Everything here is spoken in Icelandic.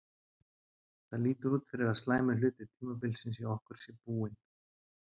Það lítur út fyrir að slæmi hluti tímabilsins hjá okkur sé búinn.